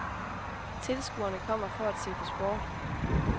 Tilskuerne kommer for at se på sport.